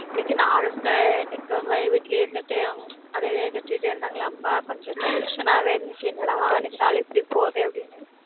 இன்னைக்கு நான் வீட்டிலயே இருந்துட்டு அது இதுன்னு திட்டிட்டே இருந்தாங்களா அம்மா கொஞ்சம் tension ஆவே இருந்துச்சு என்னடா இன்னைக்கு நாள் இப்படி போகுதே அப்படின்னு